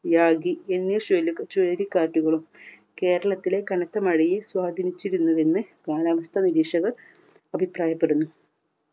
Yagi എന്നീ ചുയ് ചുഴലിക്കാറ്റുകളും കേരളത്തിലെ കനത്ത മഴയെ സ്വാധീനിച്ചിരുന്നുവെന്ന് കാലാവസ്ഥ നിരീക്ഷകർ അഭിപ്രായപ്പെടുന്നു.